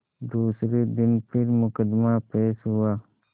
दूसरे दिन फिर मुकदमा पेश हुआ